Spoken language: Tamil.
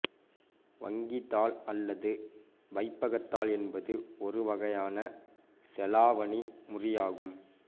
வங்கித்தாள் அல்லது வைப்பகத்தாள் என்பது ஒருவகையான செலாவணி முறி ஆகும்